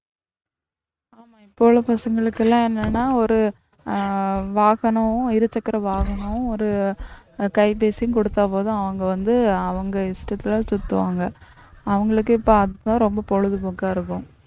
இப்போ உள்ள பசங்களுக்கு எல்லாம் என்னன்னா ஒரு அஹ் வாகனமும் இருசக்கர வாகனமும் ஒரு கைபேசியும் கொடுத்தா போதும் அவங்க வந்து அவங்க இஷ்டத்துல சுத்துவாங்க அவங்களுக்கே பார்த்துதான் ரொம்ப பொழுதுபோக்கா இருக்கும்